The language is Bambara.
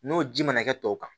N'o ji mana kɛ tɔw kan